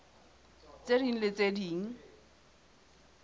tse ding le tse ding